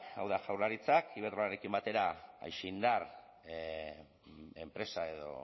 hau da jaurlaritzak iberdrolarekin batera aixindar enpresa edo